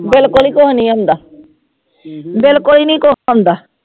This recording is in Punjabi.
ਬਿਲਕੁਲ ਹੀ ਕੁਛ ਨੀ ਆਉਂਦਾ, ਬਿਲਕੁਲ ਹੀ ਨੀ ਕੁਛ ਆਉਂਦਾ।